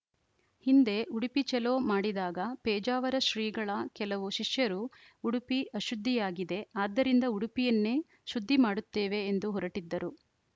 ಹಿಂದೆ ಉಡುಪಿ ಚಲೋ ಮಾಡಿದಾಗ ಪೇಜಾವರ ಶ್ರೀಗಳ ಕೆಲವು ಶಿಷ್ಯರು ಉಡುಪಿ ಅಶುದ್ಧಿಯಾಗಿದೆ ಆದ್ದರಿಂದ ಉಡುಪಿಯನ್ನೇ ಶುದ್ಧಿ ಮಾಡುತ್ತೇವೆ ಎಂದು ಹೊರಟಿದ್ದರು